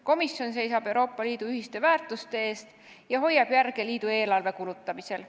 Komisjon seisab Euroopa Liidu ühiste väärtuste eest ja hoiab järge liidu eelarve kulutamisel.